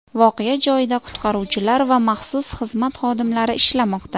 Voqea joyida qutqaruvchilar va maxsus xizmat xodimlari ishlamoqda.